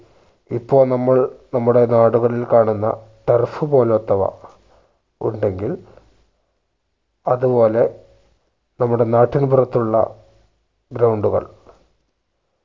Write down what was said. ഇപ്പോൾ നമ്മള് നമ്മളുടെ നാടുകളിൽ കാണുന്ന turf പോലോത്തവ ഉണ്ടെങ്കിൽ അതുപോലെ നമ്മുടെ നാട്ടിൻ പുറത്തുള്ള ground കൾ